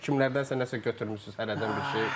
Yəqin ki, kimlərdənsə nəsə götürmüsünüz hərərdən bir şey.